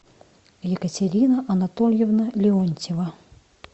екатерина анатольевна леонтьева